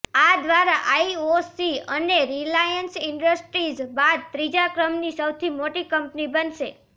આ દ્વારા આઇઓસી અને રિલાયન્સ ઇન્ડસ્ટ્રીઝ બાદ ત્રીજા ક્રમની સૌથી મોટી કંપની બનશે